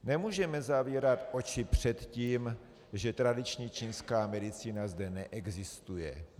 Nemůžeme zavírat oči před tím, že tradiční čínská medicína zde neexistuje (?).